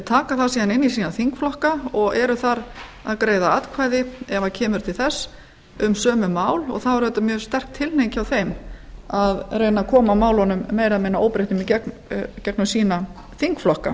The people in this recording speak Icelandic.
taka það síðan inn í sína þingflokka og eru þar að greiða atkvæði ef það kemur til þess um sömu mál og þá er auðvitað mjög sterk tilhneiging hjá þeim að reyna að koma málunum meira og minna óbreyttum í gegnum sína þingflokka